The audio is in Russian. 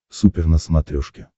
супер на смотрешке